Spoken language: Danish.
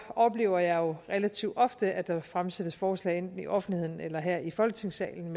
oplever jeg jo relativt ofte at der fremsættes forslag i enten offentligheden eller her i folketingssalen